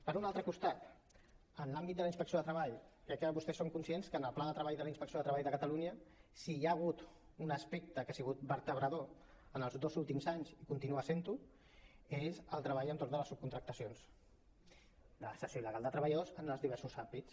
per un altre costat en l’àmbit de la inspecció de treball crec que vostès són conscients que en el pla de treball de la inspecció de treball de catalunya si hi ha hagut un aspecte que ha sigut vertebrador en els dos últims anys i continua sent ho és el treball entorn de les subcontractacions la cessió il·legal de treballadors en els diversos àmbits